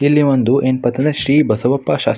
ಇಲ್ಲಿ ಒಂದು ಏನಪಾ ಶ್ರೀ ಬಸವಪ್ಪ ಶಸ್ --